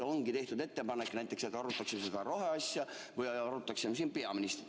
Ongi tehtud näiteks ettepanek, et arutaks seda roheasja või arutaksime siin peaministrit.